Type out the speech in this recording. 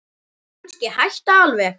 Kannski hætta alveg.